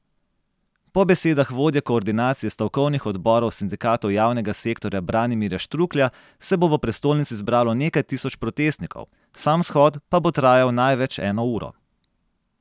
Po besedah vodje koordinacije stavkovnih odborov sindikatov javnega sektorja Branimirja Štruklja se bo v prestolnici zbralo nekaj tisoč protestnikov, sam shod pa bo trajal največ eno uro.